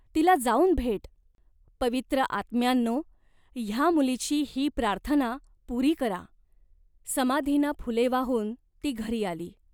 तिला जाऊन भेट. पवित्र आत्म्यांनो, ह्या मुलीची ही प्रार्थना पुरी करा." समाधीना फुले वाहून ती घरी आली.